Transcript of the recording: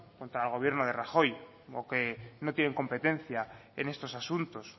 contra el gobierno de rajoy o que no tienen competencia en estos asuntos